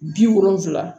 Bi wolonfila